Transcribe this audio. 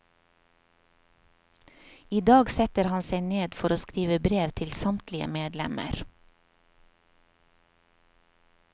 I dag setter han seg ned for å skrive brev til samtlige medlemmer.